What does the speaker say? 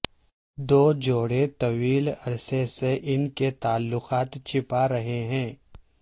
دو جوڑے طویل عرصے سے ان کے تعلقات چھپا رہے ہیں